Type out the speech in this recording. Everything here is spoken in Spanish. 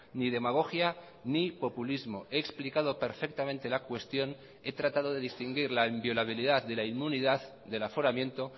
ni demagogia ni populismo he explicado perfectamente la cuestión he tratado de distinguir la inviolabilidad de la inmunidad del aforamiento